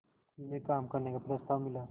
में काम करने का प्रस्ताव मिला